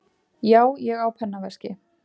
Já, ég á pennaveski.